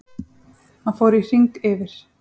Hann fór í hring yfir